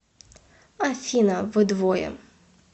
афина вы двое